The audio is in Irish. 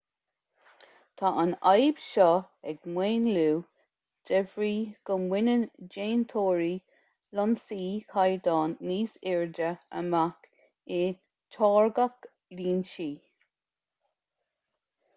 tá an fhadhb seo ag maolú de bhrí go mbaineann déantóirí lionsaí caighdeáin níos airde amach i dtáirgeadh lionsaí